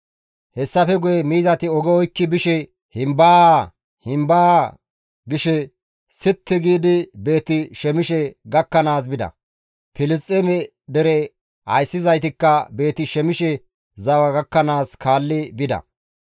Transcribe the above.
Hessafe guye miizati oge oykki bishe himbaa! Himbaa! gishe sitti giidi Beeti-Shemishe gakkanaas bida; Filisxeeme dere ayssizaytikka Beeti-Shemishe zawa gakkanaas kaalli bida.